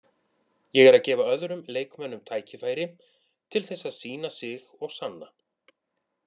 Ég er að gefa öðrum leikmönnum tækifæri til þess að sýna sig og sanna.